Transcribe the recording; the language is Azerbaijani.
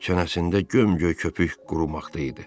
Çənəsində gömgöy köpük qurumaqda idi.